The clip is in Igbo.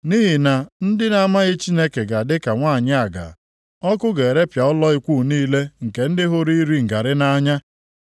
Nʼihi na ndị na-amaghị Chineke ga-adị ka nwanyị aga, ọkụ ga-erepịa ụlọ ikwu niile nke ndị hụrụ iri ngarị nʼanya.